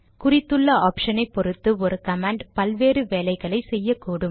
குறித்துள்ள ஆப்ஷனை பொறுத்து ஒரு கமாண்ட் பல்வேறு வேலைகளை செய்யக்கூடும்